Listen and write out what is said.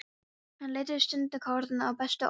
Hann leitar stundarkorn að bestu orðunum.